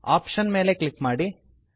option ಮೇಲೆ click ಮಾಡಿ